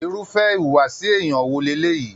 Irúfẹ́ ìwùwàsi èèyàn wò leleyii?